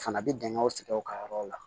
Fana bɛ dingɛw sigi u ka yɔrɔw la